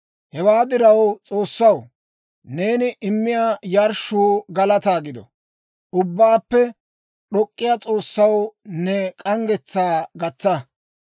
Hewaa diraw, S'oossaw, neeni immiyaa yarshshuu galataa gido; Ubbaappe D'ok'k'iyaa S'oossaw ne k'anggetsaa gatsa.